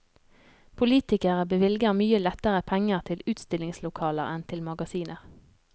Politikere bevilger mye lettere penger til utstillingslokaler enn til magasiner.